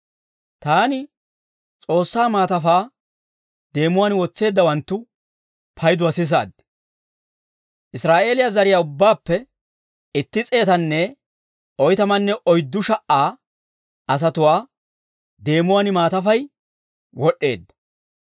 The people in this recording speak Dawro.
Taani S'oossaa maatafaa deemuwaan wotseeddawanttu payduwaa sisaad. Israa'eeliyaa zariyaa ubbaappe itti s'eetanne oytamanne oyddu sha"a asatuwaa deemuwaan maatafay wod'd'eedda.